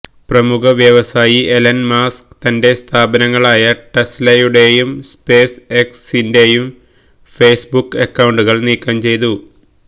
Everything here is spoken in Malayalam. പ്രമുഖ വ്യവസായി എലന് മസ്ക് തന്റെ സ്ഥാപനങ്ങളായ ടെസ്ലയുടേയും സ്പേസ് എക്സിന്റേയും ഫെയ്സ്ബുക്ക് അക്കൌണ്ടുകള് നീക്കം ചെയ്തു